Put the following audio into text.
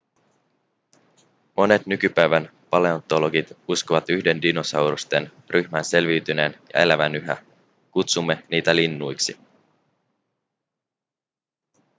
monet nykypäivän paleontologit uskovat yhden dinosaurusten ryhmän selviytyneen ja elävän yhä kutsumme niitä linnuiksi